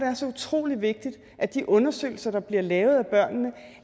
er så utrolig vigtigt at de undersøgelser der bliver lavet